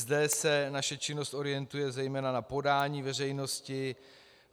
Zde se naše činnost orientuje zejména na podání veřejnosti.